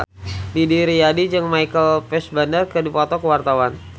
Didi Riyadi jeung Michael Fassbender keur dipoto ku wartawan